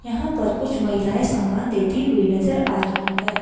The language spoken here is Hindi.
यहाँ पर कुछ महिलाएं सामान लेती हुई नजर आ रही हैं।